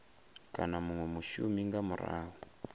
kana munwe mushumi nga murahu